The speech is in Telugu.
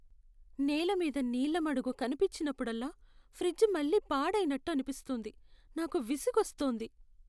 నేలమీద నీళ్ళ మడుగు కనిపించినప్పుడల్లా, ఫ్రిజ్ మళ్ళీ పాడైనట్టు అనిపిస్తుంది. నాకు విసుగొస్తోంది.